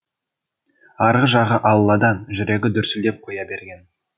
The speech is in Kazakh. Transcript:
арғы жағы алладан жүрегі дүрсілдеп қоя берген